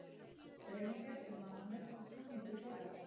Greinargerð um mannanöfn og talningu þeirra